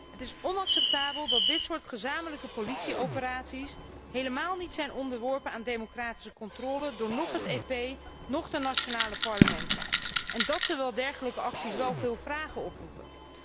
Het is onacceptabel dat dit soort gezamenlijke politieoperaties helemaal niet zijn onderworpen aan democratische controle door het Europees Parlement of door de nationale parlementen, en dat terwijl dergelijke acties wel veel vragen oproepen.